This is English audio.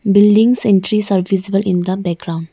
buildings and trees are visible in the background.